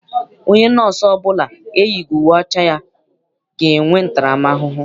Onye nọọsụ ọbụla eyighị uwe ọcha ya ga-enwe ntaram ahụhụ.